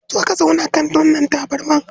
Zo ka zauna kan wannan tabarma.